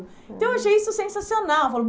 Então, eu achei isso sensacional.